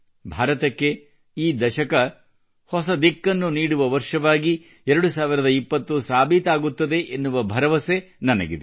ಭಾರತಕ್ಕೆ ಈ ದಶಕ ಹೊಸ ದಿಕ್ಕನ್ನು ನೀಡುವ ವರ್ಷವಾಗಿ 2020 ಸಾಬೀತಾಗುತ್ತದೆ ಎನ್ನುವ ಭರವಸೆ ನನಗಿದೆ